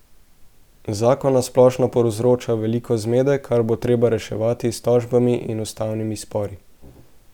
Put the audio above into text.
Zakon na splošno povzroča veliko zmede, kar bo treba reševati s tožbami in ustavnimi spori.